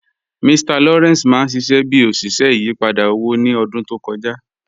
Mr Lawrence mà n ṣiṣẹ̀ bí oṣiṣẹ̀ ìyìpadà owó ni ọ̀dún tó kọja